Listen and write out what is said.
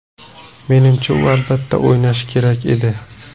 Menimcha, u albatta, o‘ynashi kerak edi.